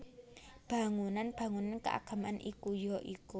Bangunan bangunan keagamaan iku ya iku